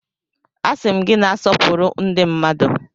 Asị m gị na-asọpụrụ ndi mmadu!